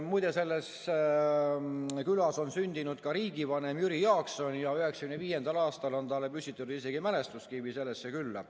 Muide, selles külas on sündinud ka riigivanem Jüri Jaakson ja 1995. aastal on talle püstitatud isegi mälestuskivi sellesse külla.